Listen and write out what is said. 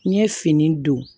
N ye fini don